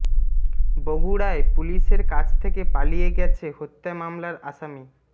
বগুড়ায় পুলিশের কাছ থেকে পালিয়ে গেছে হত্যা মামলার আসামি